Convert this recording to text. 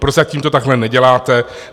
Prozatím to takhle neděláte.